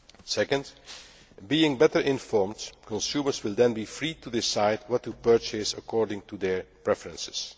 Secondly, being better informed, consumers will then be free to decide what to purchase according to their preferences.